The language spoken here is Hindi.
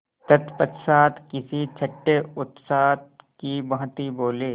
तत्पश्चात किसी छंटे उस्ताद की भांति बोले